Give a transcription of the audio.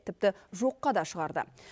тіпті жоққа да шығарды